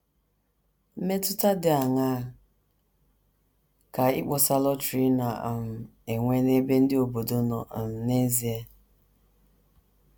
Mmetụta dị aṅaa ka ịkpọsa lọtrị na um - enwe n’ebe ndị obodo nọ um n’ezie?